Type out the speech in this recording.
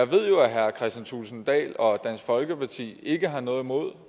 ved jo at herre kristian thulesen dahl og dansk folkeparti ikke har noget imod